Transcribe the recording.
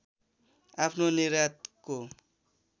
आफ्नो निर्यातको